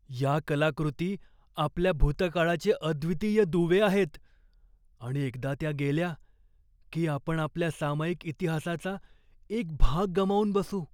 या कलाकृती आपल्या भूतकाळाचे अद्वितीय दुवे आहेत आणि एकदा त्या गेल्या की आपण आपल्या सामायिक इतिहासाचा एक भाग गमावून बसू.